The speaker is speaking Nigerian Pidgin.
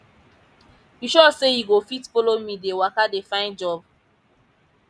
[] you sure sey you go fit follow me dey waka dey find job